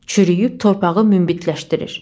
Çürüyüb torpağı münbitləşdirir.